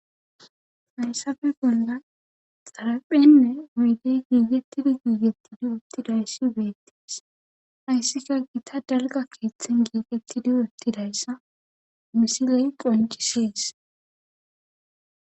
hayssafe bolla xaraphenne oydey giigettidi giigetti di uttidayssi beettees ayssika gita dalga keeththen giigettidi ottidayssa misiley qoncisees